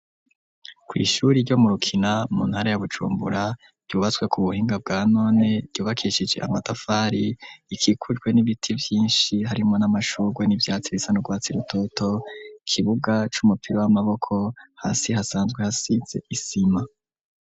Kw'ishure ryo mu Rukina, mu ntara ya Bujumbura, ryubatswe ku buhinga bwa none, ryubakishije amatafari, rikikujwe n'ibiti vyinshi harimwo n'amashugwe n'ivyatsi bisa n'urwatsi rutoto, ikibuga c'umupira w'amaboko, hasi hasanzwe hasize isima.